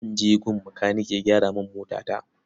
Zan je gun makanike ya gyara min motata.